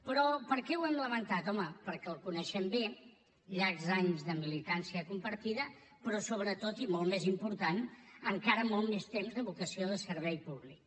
però per què ho hem lamentat home perquè el coneixem bé llargs anys de militància compartida però sobretot i molt més important encara molt més temps de vocació de servei públic